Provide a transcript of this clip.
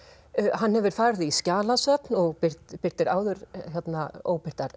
hann hefur farið í skjalasöfn og birtir birtir áður